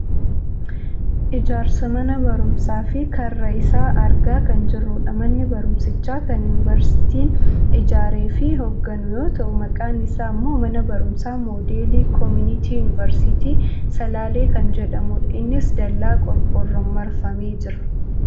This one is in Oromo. ijaarsa mana barumsaa fi karra isaa argaa kan jirrudha. Manni barumsichaa kan yuuniversiitiin ijaareefi hoogganu yoo ta'u maqaan isaa ammoo mana barumsa moodelii komuniitii yuuniversiitii salaalee kan jedhamudha. innis dallaa qorqoorroon marfamee jira.